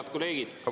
Head kolleegid!